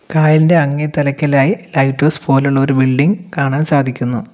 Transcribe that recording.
കായലിൻ്റെ അങ്ങേ തലയ്ക്കലായി ലൈറ്റ് ഹൗസ് പോലുള്ളൊരു ബിൽഡിംഗ് കാണാൻ സാധിക്കുന്നു.